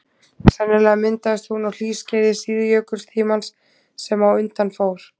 Sennilega myndaðist hún á hlýskeiði síðjökultímans sem á undan fór.